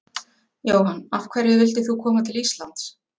Jóhann: Af hverju vildir þú koma til Íslands?